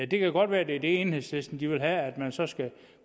det kan godt være at det enhedslisten vil have er at man så